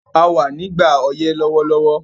A wà nígbà ọyẹ́ lówólówó